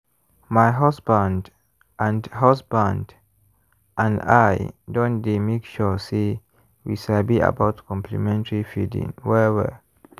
my husband and husband and i don dey make sure say we sabi about complementary feeding well-well.